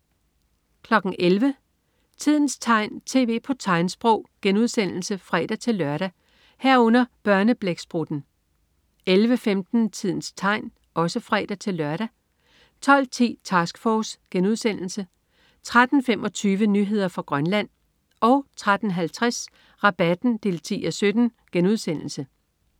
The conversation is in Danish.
11.00 Tidens tegn, tv på tegnsprog* (fre-lør) 11.00 Børneblæksprutten (fre-lør) 11.15 Tidens tegn (fre-lør) 12.10 Task Force* 13.25 Nyheder fra Grønland 13.50 Rabatten 10:17*